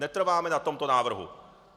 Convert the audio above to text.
Netrváme na tomto návrhu.